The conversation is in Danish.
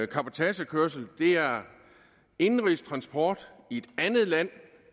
cabotagekørsel er indenrigstransport i et andet land